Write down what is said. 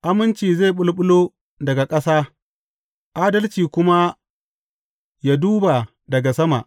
Aminci zai ɓulɓulo daga ƙasa, adalci kuma yă duba daga sama.